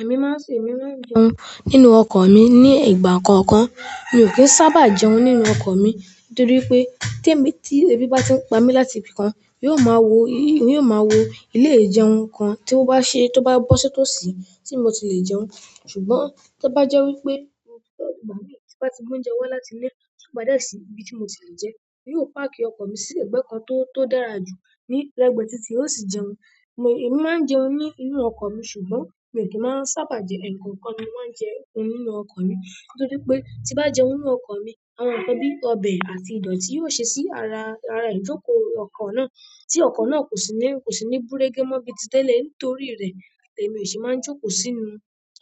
Èmi máa ń se ìmi láti jẹun nínú ọkọ̀ mi ní ìgbà kọ̀ọ̀kan. Mi ò kí ń sábà jẹun nínú ọkọ̀ mi nítorí pé tí èmi tí ebi bá ti ń pa mí láti ibi kan, yóò máa wo, yóò máa wo ilé ìjẹun kan tí ó bá ṣe tó bá bọ́ sí tòsí tí mo ti lè jẹun. Ṣùgbọ́n tó bá jẹ́ wípé ọkọ mi bá ti mú oúnjẹ wá láti ilé tó padà sí ibi tí mo ti lè jẹun, yóò páàkì ọkọ̀ mi sí ẹ̀gbẹ́ kan tó, tó dára jù ní lẹ́gbẹ̀ẹ́ títí ó sì jẹun. Èmi máa ń jẹun ní inú ọkọ̀ mi ṣùgbọ́n èmi ò kí ń máa ń sábà jẹ ẹ̀ẹ̀kọ̀ọ̀kan ni mo máa ń jẹun nínú ọkọ̀ mi nítorí pé tí bá jẹun nínú ọkọ̀ mi, àwọn nǹkan bí ọbẹ̀ àti ìdọ̀tí yóò ṣe sí ara, ara ìjókòó ọkọ̀ náà tí ọkọ̀ náà kò sí ní, kò sí ní gún régé mọ́ bíi ti tẹ́lẹ̀ nítorí rẹ̀ èmi ò sì máa ń jókòó sínú,